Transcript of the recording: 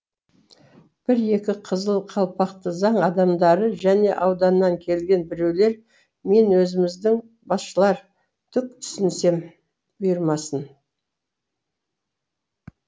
бір екі қызыл қалпақты заң адамдары және ауданнан келген біреулер мен өзіміздің басшылар түк түсінсем бұйырмасын